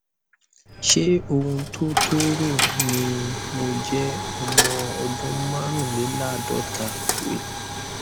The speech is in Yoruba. ṣé ohun tó tó rò ni mo jẹ ọmọ ọdún márùnléláàádọta wt